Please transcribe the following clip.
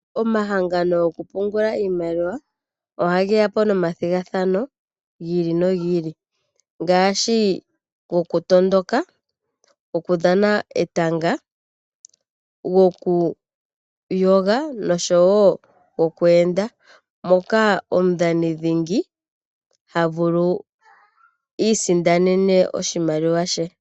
Omahangano goku pungula iimaliwa, oha geya po nomathigathano gi ili nogi ili, ngaashi gokutondoka, go kudhana etanga, gokuyoga, noshowo goku enda, moka omudhani dhingi ha vulu oku isindanena oshimaliwa she.